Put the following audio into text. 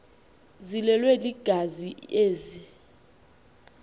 ziblelwe yingazi ezi